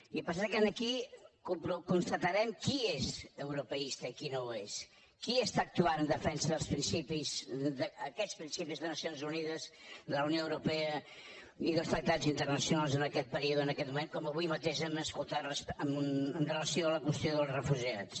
i passa que aquí constatarem qui és europeista i qui no ho és qui està actuant en defensa dels principis d’aquests principis de nacions unides de la unió europea i dels tractats internacionals en aquest període en aquest moment com avui mateix hem escoltat amb relació a la qüestió dels refugiats